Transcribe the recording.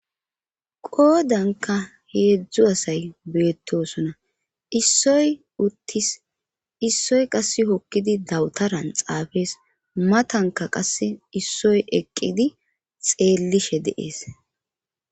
qoodanka heedzdzu asay beettosona issoy uttis issoy qasse hokkidi dawutaran xaafees matanka qasse issoy eqqidi xeellishe de'ees